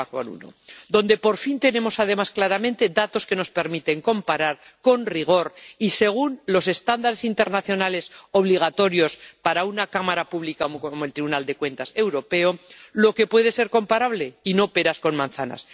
3,1 donde, por fin, tenemos, además, claramente datos que nos permiten comparar, con rigor y según los estándares internacionales obligatorios para una cámara pública como el Tribunal de Cuentas Europeo, lo que puede ser comparable, y no peras con manzanas.